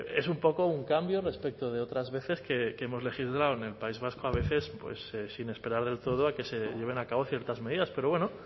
es un poco un cambio respecto de otras veces que hemos legislado en el país vasco a veces sin esperar del todo a que se lleven a cabo ciertas medidas pero bueno